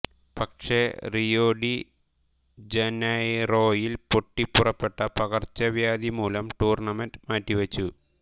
പക്ഷെ Rio de ജനൈറോയിൽ പൊട്ടിപ്പുറപ്പെട്ട പകർച്ചവ്യാധി മൂലം ടൂർണമെന്റ് മാറ്റിവെച്ചു